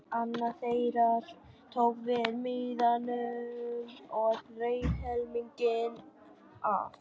Annar þeirra tók við miðanum og reif helminginn af.